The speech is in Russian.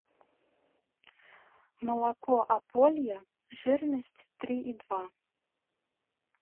молоко ополье жирность три и два